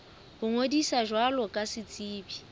ho ngodisa jwalo ka setsebi